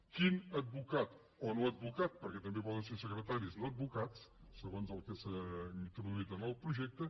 quin advocat o no advocat perquè també poden ser secretaris no advocats segons el que s’ha introduït en el projecte